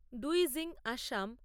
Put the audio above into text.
ডুইজিং Assam